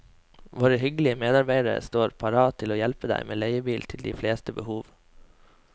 Våre hyggelige medarbeidere står parat til å hjelpe deg med leiebil til de fleste behov.